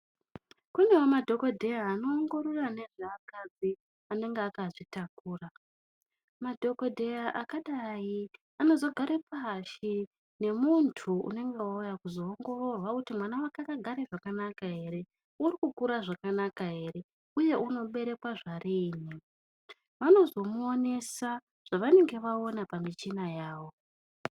Kunewo madhokodheya anoongorora ngezveakadzi anenge akazvitakura. Madhokodheya akadai anozogare pashi nemuntu unenge auya kuzoongororwa kuti mwana wake akagare zvakanaka ere, urikukura zvakanaka ere uye unoberekwa zvariini. Vanozomuonesa zvavanenge vaona pamichina yavo.